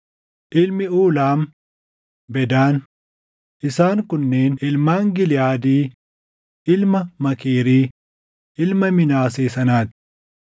Ilmi Uulaam: Bedaan. Isaan kunneen ilmaan Giliʼaadii ilma Maakiirii, ilma Minaasee sanaa ti.